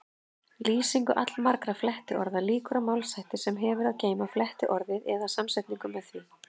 Lýsingu allmargra flettiorða lýkur á málshætti sem hefur að geyma flettiorðið eða samsetningu með því.